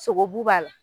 Sogobu b'a la